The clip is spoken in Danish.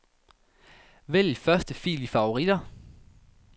Vælg første fil i favoritter.